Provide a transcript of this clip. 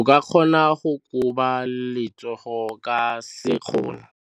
O ka kgona go koba letsogo ka sekgono.